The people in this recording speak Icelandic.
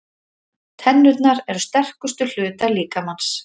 Tennurnar eru sterkustu hlutar líkamans.